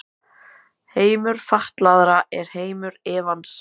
Heimur fatlaðra er heimur efans.